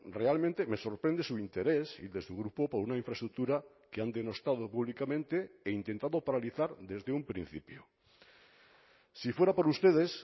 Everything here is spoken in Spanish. realmente me sorprende su interés y de su grupo por una infraestructura que han denostado públicamente e intentado paralizar desde un principio si fuera por ustedes